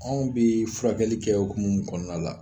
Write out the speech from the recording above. Anw be furakɛli kɛ okumu min kɔnɔna la